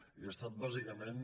i ha estat bàsicament